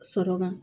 Sɔrɔ kan